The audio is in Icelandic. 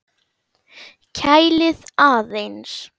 Kælið aðeins.